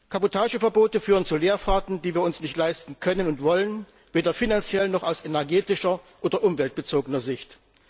Kabotageverbote führen zu Leerfahrten, die wir uns nicht leisten können und wollen, weder finanziell noch aus energie oder umweltbezogener Sicht.